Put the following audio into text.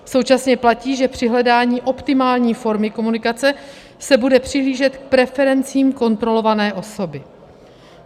Současně platí, že při hledání optimální formy komunikace se bude přihlížet k preferencím kontrolované osoby.